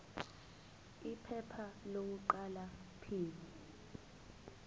iphepha lokuqala p